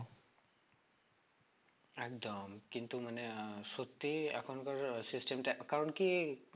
একদম কিন্তু মানে আহ সত্যি এখনকার system টা কারণ কি